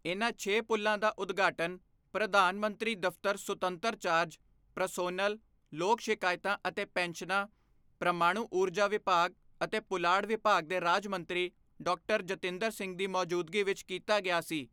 ਇਨ੍ਹਾਂ ਛੇ ਪੁਲ਼ਾਂ ਦਾ ਉਦਘਾਟਨ ਪ੍ਰਧਾਨ ਮੰਤਰੀ ਦਫ਼ਤਰ ਸੁਤੰਤਰ ਚਾਰਜ, ਪ੍ਰਸੋਨਲ, ਲੋਕ ਸ਼ਿਕਾਇਤਾਂ ਅਤੇ ਪੈਨਸ਼ਨਾਂ, ਪ੍ਰਮਾਣੂ ਊਰਜਾ ਵਿਭਾਗ ਅਤੇ ਪੁਲਾੜ ਵਿਭਾਗ ਦੇ ਰਾਜ ਮੰਤਰੀ ਡਾ ਜਤਿੰਦਰ ਸਿੰਘ ਦੀ ਮੌਜੂਦਗੀ ਵਿੱਚ ਕੀਤਾ ਗਿਆ ਸੀ।